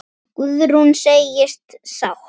Guðrún segist sátt.